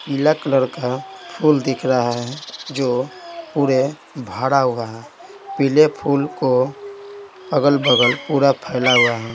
पीला कलर का फूल दिख रहा है जो पूरे भड़ा हुआ है पीले फूल को अगल-बगल पूरा फैला हुआ है।